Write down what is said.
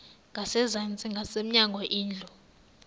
ngasezantsi ngasemnyango indlu